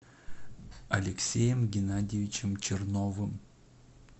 алексеем геннадьевичем черновым